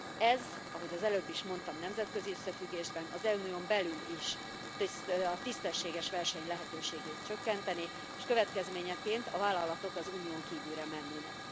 Ez, ahogy az előbb is mondtam, nemzetközi összefüggésben, az Unión belül is, a tisztességes verseny lehetőségét csökkentené, és következményeként a vállalatok az Unión kívülre mennének.